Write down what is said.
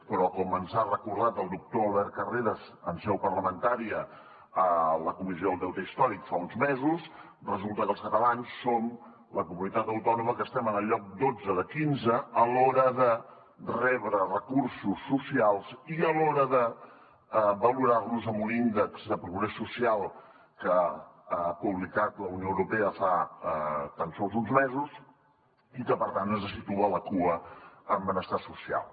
però com ens ha recordat el doctor albert carreras en seu parlamentària a la comissió del deute històric fa uns mesos resulta que els catalans som la comunitat autònoma que estem en el lloc dotze de quinze a l’hora de rebre recursos socials i a l’hora de valorar nos en un índex de progrés social que ha publicat la unió europea fa tan sols uns mesos i que per tant ens situa a la cua en benestar social